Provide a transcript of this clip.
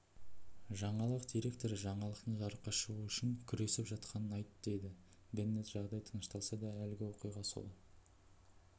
жаңалық директоры жаңалықтың жарыққа шығуы үшін күресіп жатқанын айттыдейді беннет жағдай тынышталса да әлгі оқиға сол